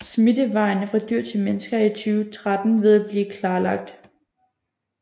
Smittevejene fra dyr til mennesker er i 2013 ved at blive klarlagt